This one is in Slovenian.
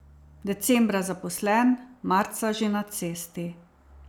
Decembra zaposlen, marca že na cesti.